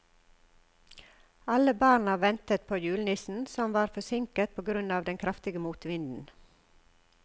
Alle barna ventet på julenissen, som var forsinket på grunn av den kraftige motvinden.